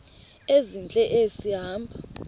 ezintle esi hamba